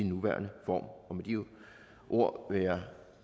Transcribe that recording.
nuværende form med de ord vil jeg